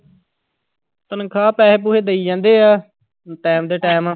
ਤਨਖਾਹ ਪੈਸੇ ਪੂਸੇ ਦਈ ਜਾਂਦੇ ਆ time ਦੇ time